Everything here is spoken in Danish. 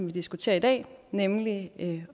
vi diskuterer i dag nemlig at